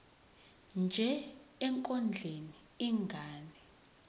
nje ekondleni ingane